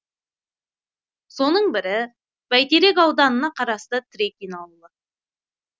соның бірі бәйтерек ауданына қарасты трекин ауылы